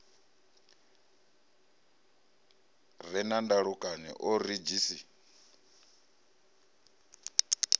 re na ndalukanyo o redzhisi